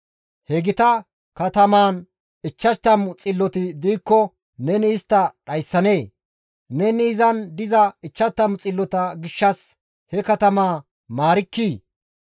He gita katamaan 50 xilloti diikko neni istta dhayssanee? Neni izan diza 50 xillota gishshas he katamaa maarkkii?